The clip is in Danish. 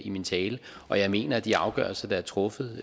i min tale og jeg mener at de afgørelser der er truffet